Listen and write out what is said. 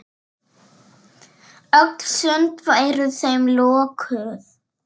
Öll sund væru þeim lokuð.